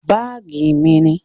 Báàgí mí ni.